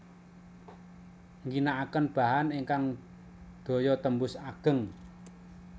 Ngginakaken bahan ingkang daya tembus ageng